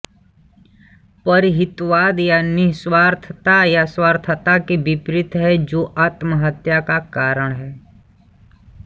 परहितवाद या निःस्वार्थता स्वार्थता के विपरीत हैं जो आत्महत्या का कारण है